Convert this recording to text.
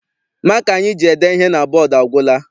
Maka anyị ji ede ihe na bọdu agwụla.